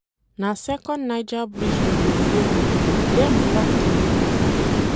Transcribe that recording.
Na second Niger bridge we go folo, dem block di main one.